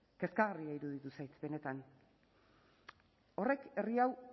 kezkagarria iruditu zait benetan horrek herri hau